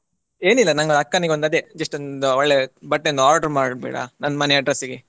ಏನಿಲ್ಲ ನಂಗೆ ಅಕ್ಕನಿಗೊಂದು ಅದೇ just ಒಂದು ಒಳ್ಳೆ ಬಟ್ಟೆ ಒಂದ್ order ಮಾಡ್ಬಿಡಾ ನನ್ನ ಮನೆ address ಗೆ.